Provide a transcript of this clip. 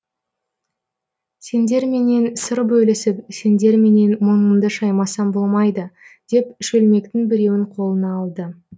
сендерменен сыр бөлісіп сендерменен мұңымды шаймасам болмайды деп шөлмектің біреуін қолына алды